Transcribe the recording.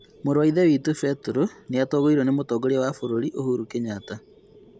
Mũru wa ithe witũ Peter nĩatũgĩirio ni mũtongoria wa bũrũri, Uhuru Kenyatta